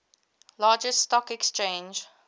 largest stock exchange